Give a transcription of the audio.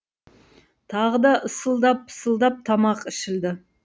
тағы да ысылдап пысылдап тамақ ішілді